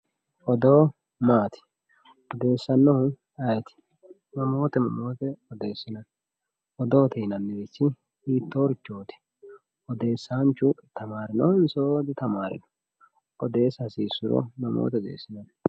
odoo maati odeessannohu ayiiti mamoote mamoote odeesinanni odoote yinannirichi hitoorichooti odeesanchu tamarinohonso ditamaarinoho oodeesa hasiisuro mamoote odeesinanni